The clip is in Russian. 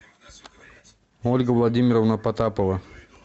ольга владимировна потапова